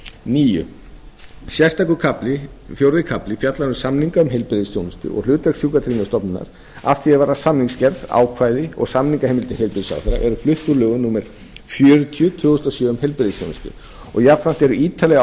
níundi sérstakur kafli fjórði kafli fjallar um samninga um heilbrigðisþjónustu og hlutverk sjúkratryggingastofnunarinnar að því er varðar samningagerð ákvæði og samningaheimildir heilbrigðisráðherra eru flutt úr lögum númer fjörutíu tvö þúsund og sjö um heilbrigðisþjónustu og jafnframt eru ítarlegri ákvæði